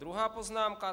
Druhá poznámka.